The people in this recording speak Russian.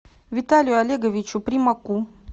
виталию олеговичу примаку